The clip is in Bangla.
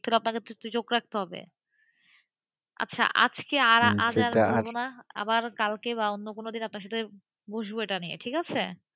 আপনাকে তো চোখ রাখতে হবেআচ্ছা আজকে আর আজ বলবো নাআবার কালকে বা অন্য কোন দিন আপনার সাথে বসবো এটা নিয়ে,